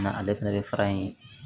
Na ale fɛnɛ bɛ fara in